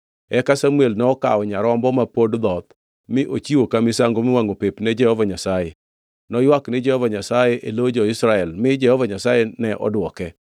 Eka Samuel nokawo nyarombo ma pod dhoth mi ochiwo ka misango miwangʼo pep ni Jehova Nyasaye. Noywak ni Jehova Nyasaye e lo jo-Israel, mi Jehova Nyasaye ne odwoke.